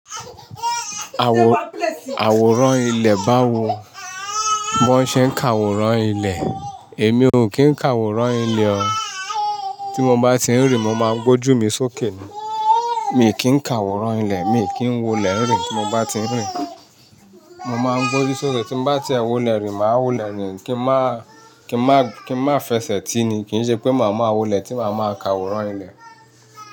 Àwòrán ilẹ̀ báwo? Wọ́n ṣé ń ka àwòrán ilẹ̀. Èmi ò kín ń ka àwòrán ilẹ̀ o. Tí mo bá ti ń rìn, mo máa ń gbójú mi sókè ni. Mi ò kín ka àwòrán ilẹ̀, mi ò kín wo ilẹ̀ rìn. Tí mo bá ti ń rìn, mo máa ń gbójú sókè. Tí mo bá ti ẹ wo ilẹ̀ rìn, màá wo ilẹ̀ rìn. Kí n máa fẹsẹ̀ ti ni. Kì í ṣe pé màá máa wo ilẹ̀ tí màá máa ka àwòrán ilẹ̀.